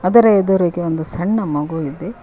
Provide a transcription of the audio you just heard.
ಅದರ ಎದುರಿಗೆ ಒಂದು ಸಣ್ಣ ಮಗು ಇದೆ.